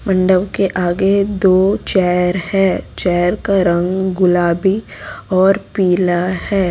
मंडप के आगे दो चेयर है चेयर का रंग गुलाबी और पीला है।